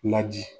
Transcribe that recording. Laji